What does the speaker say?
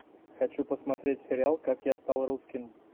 хочу посмотреть сериал как я стал русским